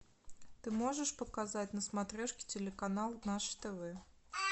ты можешь показать на смотрешке телеканал наше тв